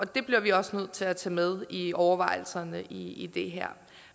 det bliver vi også nødt til at tage med i overvejelserne i det her